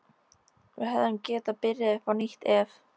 Við hefðum getað byrjað upp á nýtt ef